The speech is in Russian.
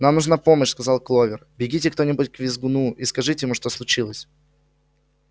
нам нужна помощь сказала кловер бегите кто-нибудь к визгуну и скажите ему что случилось